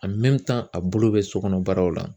a bolo bɛ so kɔnɔ baaraw la.